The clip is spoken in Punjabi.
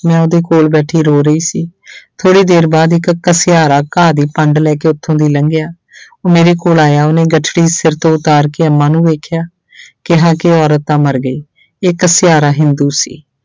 ਮੈਂ ਉਹਦੇ ਕੋਲ ਬੈਠੀ ਰੋ ਰਹੀ ਸੀ ਥੋੜ੍ਹੀ ਦੇਰ ਬਾਅਦ ਇੱਕ ਘਸਿਆਰਾ ਘਾਹ ਦੀ ਪੰਡ ਲੈ ਕੇ ਉੱਥੋਂ ਦੀ ਲੰਘਿਆ ਉਹ ਮੇਰੇ ਕੋਲ ਆਇਆ ਉਹਨੇ ਗੱਠੜੀ ਸਿਰ ਤੋਂ ਉਤਾਰ ਕੇ ਅੰਮਾ ਨੂੰ ਵੇਖਿਆ ਕਿਹਾ ਕਿ ਔਰਤ ਤਾਂ ਮਰ ਗਈ ਇਹ ਘਸਿਆਰਾ ਹਿੰਦੂ ਸੀ।